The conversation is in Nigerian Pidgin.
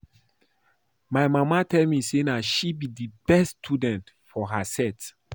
My mama tell me say na she be the best student for her set